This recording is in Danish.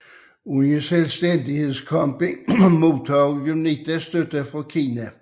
Under selvstændighedskampen modtog UNITA støtte fra Kina